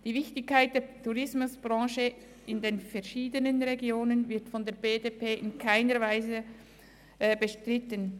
Die Wichtigkeit der Tourismusbranche in den verschiedenen Regionen wird von der BDP in keiner Weise bestritten.